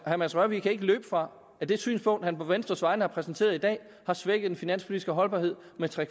herre mads rørvig kan ikke løbe fra at det synspunkt han på venstres vegne har præsenteret i dag har svækket den finanspolitiske holdbarhed med tre